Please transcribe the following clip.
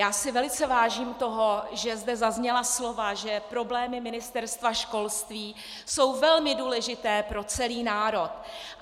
Já si velice vážím toho, že zde zazněla slova, že problémy Ministerstva školství jsou velmi důležité pro celý národ.